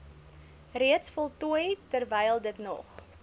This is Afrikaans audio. reeds voltooi terwylditnog